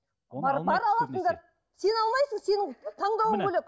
бар алатындар сен алмайсың сенің таңдауың бөлек